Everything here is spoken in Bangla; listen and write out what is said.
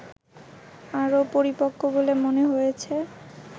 আরো পরিপক্ক বলে মনে হয়েছে